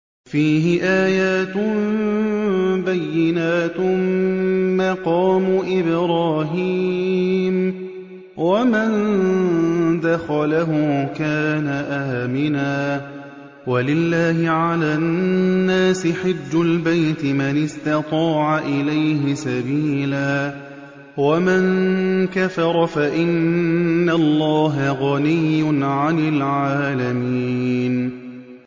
فِيهِ آيَاتٌ بَيِّنَاتٌ مَّقَامُ إِبْرَاهِيمَ ۖ وَمَن دَخَلَهُ كَانَ آمِنًا ۗ وَلِلَّهِ عَلَى النَّاسِ حِجُّ الْبَيْتِ مَنِ اسْتَطَاعَ إِلَيْهِ سَبِيلًا ۚ وَمَن كَفَرَ فَإِنَّ اللَّهَ غَنِيٌّ عَنِ الْعَالَمِينَ